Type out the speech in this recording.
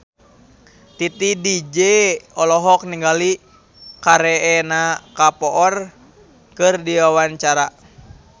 Titi DJ olohok ningali Kareena Kapoor keur diwawancara